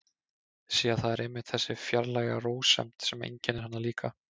Sé að það er einmitt þessi fjarlæga rósemd sem einkennir hana líka.